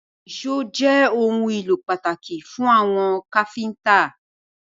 Èṣó jé òun ìlò pàtàkì fún àwọn káfínńtà!